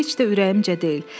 Bu heç də ürəyimcə deyil.